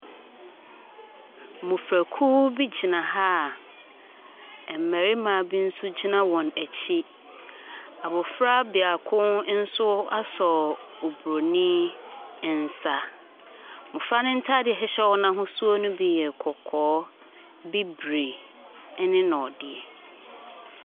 Mmɔfrakuo bi gyina ha a mmarima bi nso gyina wɔn akyi. Abɔfra biako nso asɔ Oburoni nsa. Mmɔfra no ntaare a ɛhyehyɛ wɔn no ahosuo no bi yɛ kɔkɔɔ, bibire ɛne nɔɔdeɛ.